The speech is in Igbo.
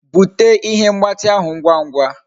Bute ihe mgbati ahu ahu ngwa ngwa